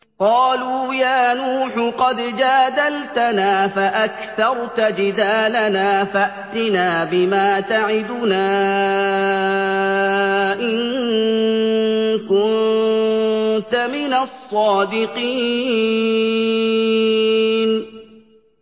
قَالُوا يَا نُوحُ قَدْ جَادَلْتَنَا فَأَكْثَرْتَ جِدَالَنَا فَأْتِنَا بِمَا تَعِدُنَا إِن كُنتَ مِنَ الصَّادِقِينَ